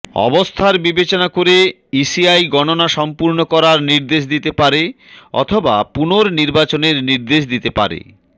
অবস্থার বিবেচনা করে ইসিআই গণনা সম্পূর্ণ করার নির্দেশ দিতে পারে অথবা পুনর্নিবাচনের নির্দেশ দিতে পারে